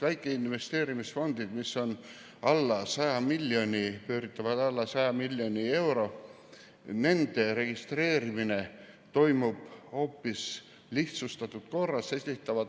Väikesed investeerimisfondid pööritavad alla 100 miljoni euro ja nende registreerimine toimub lihtsustatud korras.